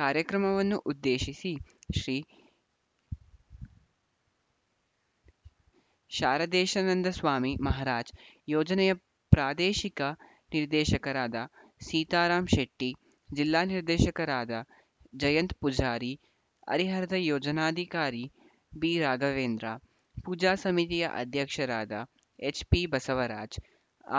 ಕಾರ್ಯಕ್ರಮವನ್ನು ಉದ್ದೇಶಿಸಿ ಶ್ರೀ ಶಾರದೇಶಾನಂದಸ್ವಾಮಿ ಮಹರಾಜ್‌ ಯೋಜನೆಯ ಪ್ರಾದೇಶಿಕ ನಿರ್ದೇಶಕರಾದ ಸೀತಾರಾಮ್‌ ಶೆಟ್ಟಿ ಜಿಲ್ಲಾ ನಿರ್ದೇಶಕರಾದ ಜಯಂತ್‌ ಪೂಜಾರಿ ಹರಿಹರದ ಯೋಜನಾಧಿಕಾರಿ ಬಿ ರಾಘವೇಂದ್ರ ಪೂಜಾ ಸಮಿತಿಯ ಅಧ್ಯಕ್ಷರಾದ ಎಚ್‌ಪಿ ಬಸವರಾಜ್‌